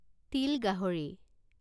তিল গাহৰি